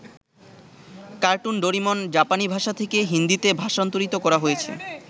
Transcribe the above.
Cartoon Doraemon জাপানী ভাষা থেকে হিন্দীতে ভাষান্তরিত করা হয়েছে।